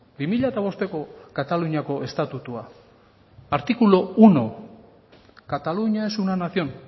bi mila bosteko kataluniako estatutua artículo uno cataluña es una nación